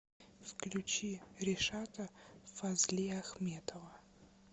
включи ришата фазлиахметова